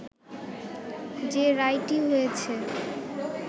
যে রায়টি হয়েছে